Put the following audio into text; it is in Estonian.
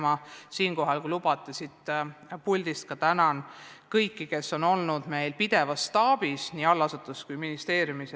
Ma tänan siit puldist kõiki, kes on meil staabis pidevalt tööl olnud, nii allasutuses kui ka ministeeriumis.